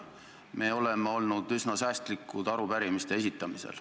Me oleme arupärimiste esitamisel olnud üsna säästlikud.